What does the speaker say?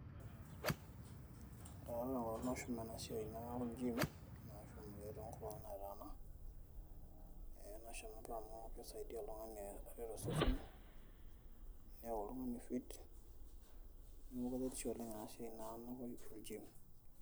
yiolo enkolong nashomo ena siai naa oljim naa ashomo ake toonkolong'i naatana nashomo apa amu kisaidia oltung'ani aret osesen naku oltung'ani fit neeku keretisho oleng ena siai naa napuoi oljim.